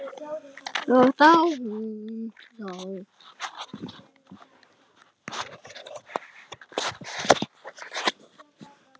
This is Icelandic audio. Og þá hún þú.